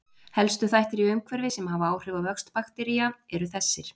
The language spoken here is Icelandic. Helstu þættir í umhverfi sem hafa áhrif á vöxt baktería eru þessir